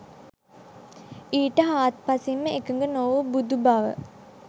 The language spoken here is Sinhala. ඊට හාත්පසින් ම එකඟ නොවූ බුදු බව